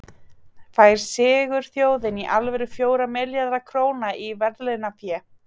Fær sigurþjóðin í alvöru fjóra milljarða króna í verðlaunafé?